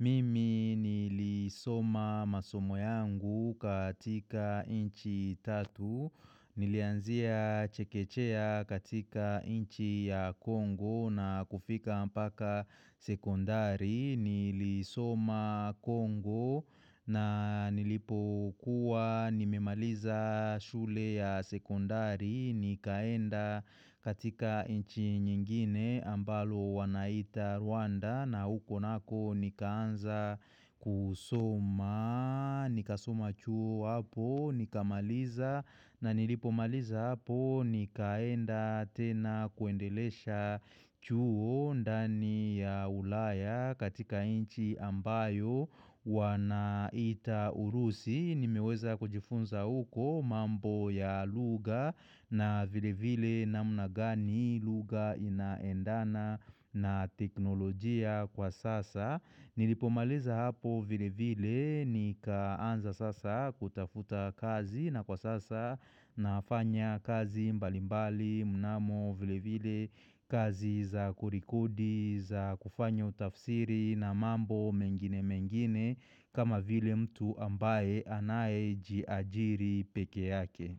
mimi nilisoma masomo yangu katika nchi tatu, nilianzia chekechea katika nchi ya Kongo na kufika mpaka sekondari, nilisoma Kongo na nilipo kuwa nimemaliza shule ya sekondari, Nikaenda katika nchi nyingine ambalo wanaita Rwanda na huko nako nikaanza kusoma Nika soma chuo hapo, nika maliza na nilipo maliza hapo Nikaenda tena kuendelesha chuo ndani ya ulaya katika nchi ambayo wanaiita urusi Nimeweza kujifunza uko mambo ya lugha na vile vile namna gani lugha inaendana na teknolojia kwa sasa. Nilipomaliza hapo vile vile, nikaanza sasa kutafuta kazi na kwa sasa nafanya kazi mbalimbali, mnamo vile vile kazi za kurekudi, za kufanyo utafsiri na mambo mengine mengine kama vile mtu ambaye anaye jiajiri peke yake.